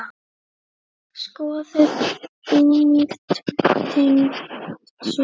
Skoðið einnig tengd svör